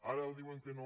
ara diuen que no